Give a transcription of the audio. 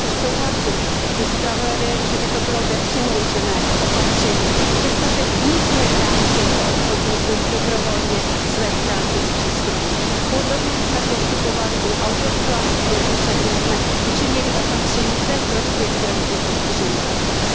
Proto souhlasím se zpravodajem, že by to bylo nepřiměřené opatření, přestože nic nebrání těmto obchodníkům dobrovolně své stránky zpřístupnit. Podobně jsme postupovali u audiovizuální směrnice, kde jsme učinili opatření ve prospěch zdravotně postižených osob.